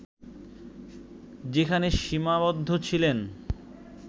যেখানে সীমাবদ্ধ ছিলেন